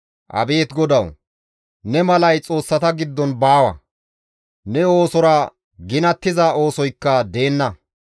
Abeet Godawu! Ne malay xoossata giddon baawa; ne oosora ginattiza oosoykka deenna.